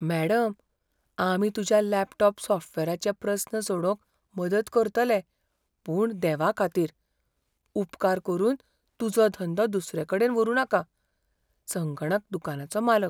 Madam, आमी तुज्या laptop सॉफ्टवॅराचे प्रस्न सोडोवंक मदत करतले पूण देवाखातीर, उपकार करून तुजो धंदो दुसरेकडेन व्हरूं नाका. संगणक दुकानाचो मालक